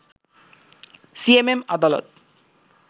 CMM আদালত